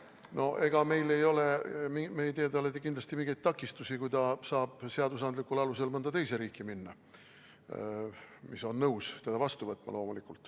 No ega me ei tee talle kindlasti mingeid takistusi, kui ta saab seaduslikul alusel minna mõnda teise riiki, mis peab loomulikult nõus olema teda vastu võtma.